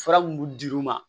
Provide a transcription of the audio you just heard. Fura mun dir'u ma